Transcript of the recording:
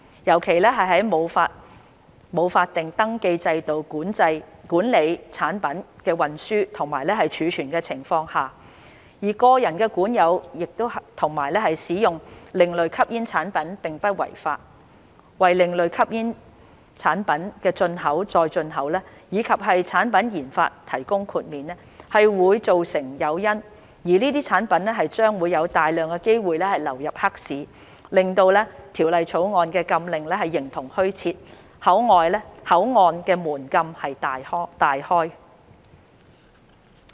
尤其在沒有法定登記制度管理產品的運輸及儲存的情況下，而個人管有及使用另類吸煙產品並不違法，為另類吸煙產品的進口再出口以及產品研發提供豁免，會造成誘因，這些產品將有大量機會流入黑市，令《條例草案》的禁令形同虛設，口岸的門禁大開。